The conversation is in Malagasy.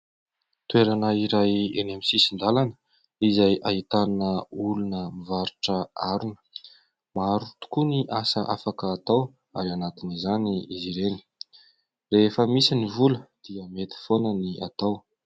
Toerana iray eny amin'ny sisin-dalana izay ahitana olona mivarotra harona. Maro tokoa ny asa afaka atao ary anatin'izany izy ireny. Rehefa misy ny vola dia mety foana ny atao.